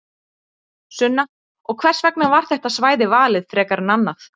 Sunna: Og hvers vegna var þetta svæði valið frekar en annað?